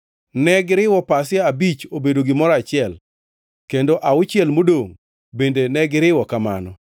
Negiriwo pasia abich obedo gimoro achiel kendo auchiel modongʼ bende negiriwo kamano.